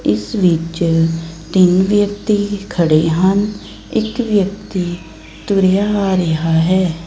ਇਸ ਵਿੱਚ ਤਿੰਨ ਵਿਅਕਤੀ ਖੜੇ ਹਨ ਇੱਕ ਵਿਅਕਤੀ ਤੁਰਿਆ ਆ ਰਿਹਾ ਹੈ।